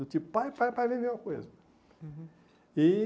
Do tipo, pai, pai, pai, vem ver alguma coisa. Uhum e